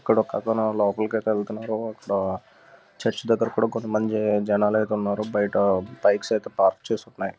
ఇక్కడ ఒక అతను లోపలి అయితే వెళ్తున్నాడు. చర్చ్ దగ్గ్గర్ కూడా కొంత మంది జనాలు అయితే ఉన్నారు. బయట బైక్స్ అయితే పార్క్ చేసి ఉన్నాయి.